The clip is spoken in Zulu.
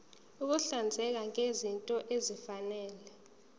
ukuhlinzeka ngezinto ezifanele